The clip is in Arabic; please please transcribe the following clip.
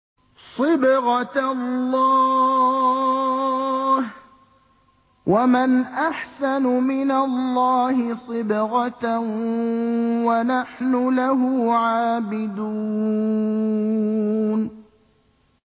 صِبْغَةَ اللَّهِ ۖ وَمَنْ أَحْسَنُ مِنَ اللَّهِ صِبْغَةً ۖ وَنَحْنُ لَهُ عَابِدُونَ